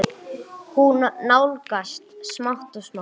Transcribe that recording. Hún nálgast smátt og smátt.